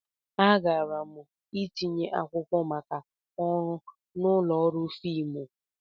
Agara m itinye akwụkwọ maka ọrụ n'ụlọ ọrụ fiimu.